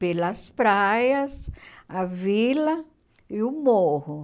Pelas praias, a vila e o morro.